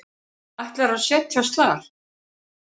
Ætlar að set jast þar.